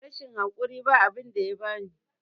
rashin hakuri ba abinda yabani